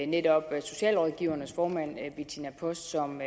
netop socialrådgivernes formand bettina post som